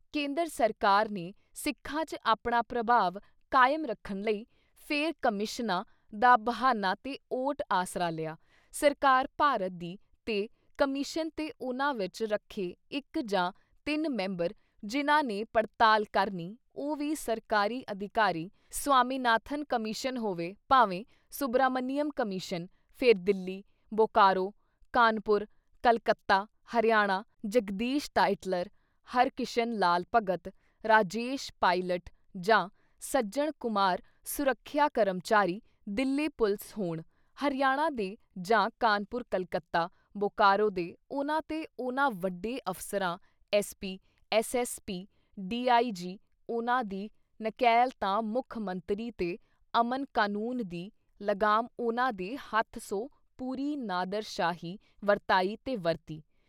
ਕੇਂਂਦਰ ਸਰਕਾਰ ਨੇ ਸਿੱਖਾਂ ‘ਚ ਆਪਣਾ ਪ੍ਰਭਾਵ ਕਾਇਮ ਰੱਖਣ ਲਈ ਫਿਰ ਕਮਿਸ਼ਨਾਂ ਦਾ ਬਹਾਨਾ ਤੇ ਓਟ ਆਸਰਾ ਲਿਆ, ਸਰਕਾਰ ਭਾਰਤ ਦੀ ਤੇ ਕਮਿਸ਼ਨ ਤੇ ਉਨ੍ਹਾਂ ਵਿੱਚ ਰੱਖੇ ਇੱਕ ਜਾਂ ਤਿੰਨ ਮੈਂਬਰ ਜਿਨ੍ਹਾਂ ਨੇ ਪੜਤਾਲ ਕਰਨੀ, ਉਹ ਵੀ ਸਰਕਾਰੀ ਅਧਿਕਾਰੀ- ਸਵਾਮੀਨਾਥਨ ਕਮਿਸ਼ਨ ਹੋਵੇ ਭਾਵੇਂ ਸੁਭਰਾਮਨੀਅਮ ਕਮਿਸ਼ਨ ਫਿਰ ਦਿੱਲੀ, ਬੋਕਾਰੋ, ਕਾਨ੍ਹਪੁਰ, ਕਲਕੱਤਾ, ਹਰਿਆਣਾ, ਜਗਦੀਸ਼ ਟਾਈਟਲਰ, ਹਰਕਿਸ਼ਨ ਲਾਲ ਭਗਤ, ਰਾਜੇਸ਼ ਪਾਈਲਟ ਜਾਂ ਸੱਜਣ ਕੁਮਾਰ ਸੁਰੱਖਿਆ ਕਰਮਚਾਰੀ, ਦਿੱਲੀ ਪੁਲਿਸ ਹੋਣ ਹਰਿਆਣਾ ਦੇ ਜਾਂ ਕਾਨਪੁਰ ਕਲਕੱਤਾ, ਬੋਕਾਰੋ ਦੇ ਉਨ੍ਹਾਂ ਤੇ ਉਨ੍ਹਾਂ ਵੱਡੇ ਅਫ਼ਸਰਾਂ SP, SS. PD. I. G. ਉਨ੍ਹਾਂ ਦੀ ਨਕੇਲ ਤਾਂ ਮੁੱਖ ਮੰਤਰੀ ਤੇ ਅਮਨ ਕਨੂੰਨ ਦੀ ਲਗਾਮ ਉਨ੍ਹਾਂ ਦੇ ਹੱਥ ਸੋ ਪੂਰੀ ਨਾਦਰਸ਼ਾਹੀ ਵਰਤਾਈ ‘ਤੇ ਵਰਤੀ।